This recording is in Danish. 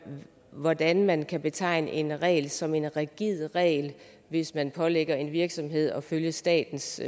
hvordan man kan betegne en regel som en rigid regel hvis man pålægger en virksomhed at følge statens